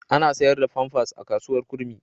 Ana sayar da famfas a kasuwar Kurmi.